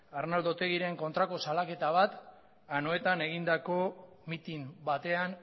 arnaldo otegiren kontrako salaketa bat anoetan egindako mitin batean